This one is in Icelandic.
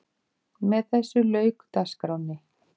Með þessu lauk dagskránni.